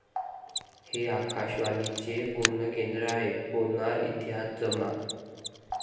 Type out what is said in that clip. हे आकाशवाणीचे पुणे केंद्र आहे' होणार इतिहास जमा!